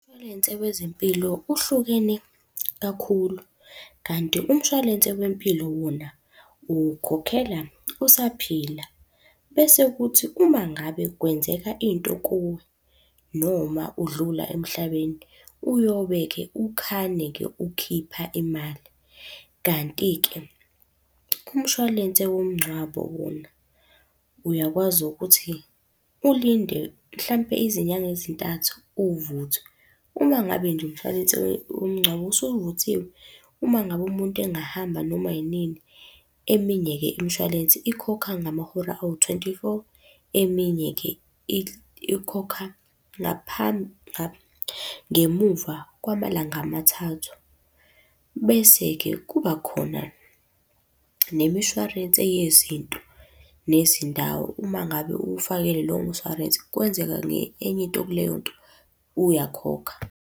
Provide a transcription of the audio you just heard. Umshwalense wezempilo uhlukene kakhulu, kanti umshwalense wempilo wona uwukhokhela usaphila. Bese kuthi uma ngabe kwenzeka into kuwe, noma udlula emhlabeni, uyobe-ke ukhane-ke ukhipha imali. Kanti-ke umshwalense womngcwabo wona, uyakwazi ukuthi ulinde mhlampe izinyanga ezintathu, uvuthwe. Uma ngabe nje umshwalense womngcwabo usuvuthiwe, uma ngabe umuntu engahamba noma inini, eminye-ke imishwalense ikhokha ngamahora awu-twenty-four. Eminye-ke ikhokha ngemuva kwamalanga amathathu. Bese-ke kuba khona nemishwarense yezinto, nezindawo. Uma ngabe uwufakile lowo mshwarensi, kwenzeka enye into kuleyo nto, uyakhokha.